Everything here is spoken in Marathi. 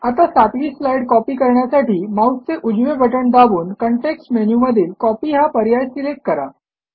आता सातवी स्लाईड कॉपी करण्यासाठी माऊसचे उजवे बटण दाबून कॉन्टेक्स्ट मेनूमधील कॉपी हा पर्याय सिलेक्ट करा